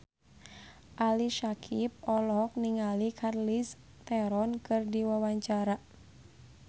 Ali Syakieb olohok ningali Charlize Theron keur diwawancara